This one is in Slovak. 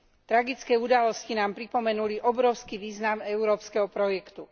Tragické udalosti nám pripomenuli obrovský význam európskeho projektu.